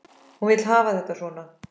Hún vill hafa þetta svona.